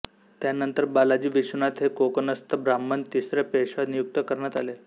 त्यानंतर बालाजी विश्वनाथ हे कोकणस्थ ब्राह्मण तिसरे पेशवा नियुक्त करण्यात आले